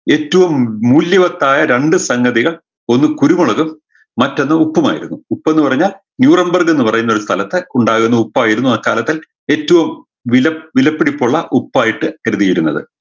ഏറ്റവും മൂല്യവത്തായ രണ്ട് സംഗതികൾ ഒന്ന് കുരുമുളകും മറ്റൊന്ന് ഉപ്പുമായിരുന്നു ഉപ്പെന്ന് പറഞ്ഞാൽ ന്യൂറംബർഗിൽന്ന് പറഞ്ഞൊരു സ്ഥലത്ത് ഉണ്ടാകുന്ന ഉപ്പായിരുന്നു അക്കാലത്ത് ഏറ്റവും വില വിലപിടിപ്പുള്ള ഉപ്പായിട്ട് കരുതിയിരുന്നത്